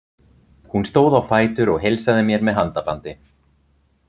Hún stóð á fætur og heilsaði mér með handabandi.